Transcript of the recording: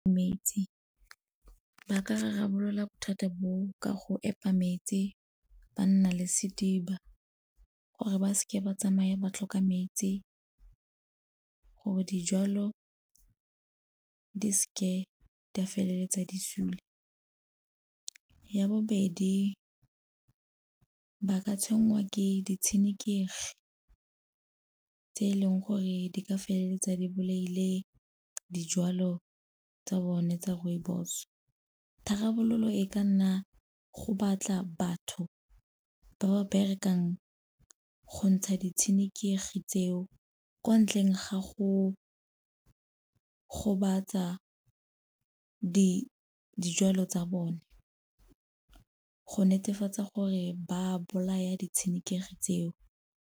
Metsi, ba ka rarabolola bothata bo ka go epa metsi ba nna le sediba gore ba seke ba tsamaye ba tlhoka metsi, gore dijalo di seke di a feleletsa di sule. Ya bobedi, ba ka tshwenngwa ke ditshenekegi tse e leng gore di ka feleletsa di bolaile dijwalo tsa bone tsa rooibos. Tharabololo e ka nna go batla batho ba ba berekang go ntsha ditshenekegi tseo ko ntleng ga go gobatsa dijalo tsa bone, go netefatsa gore ba bolaya ditshenekegi tseo.